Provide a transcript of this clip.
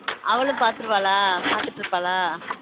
அவளும் பாத்துருவாளா பாத்துட்டு இருபால.